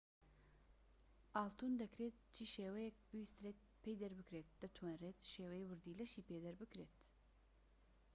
ئاڵتون دەکرێت چی شێوەیەك بویسترێت پێی دەربکرێت دەتوانرێت شێوەی وردیلەشی پێ دەربکرێت